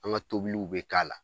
An ka tobiliw bɛ k'a la